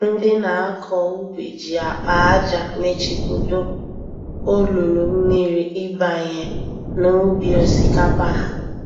Ndị nakọ ubi ji akpa ájá mechibido olulu mmiri ịbanye n'ubi osikapa ha